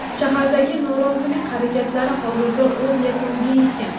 Shahardagi norozilik harakatlari hozirda o‘z yakuniga yetgan.